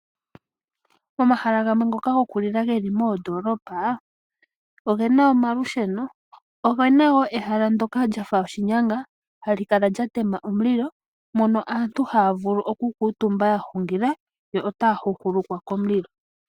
Momahala gamwe ngoka gokulila geli moondoolopa ogena omalusheno, ogena ehala ndyoka lyafa oshinyanga, hali kala lyatema omulilo , mono aantu haya vulu oukutumba yahungila yo otaya hukulukwa komulilo.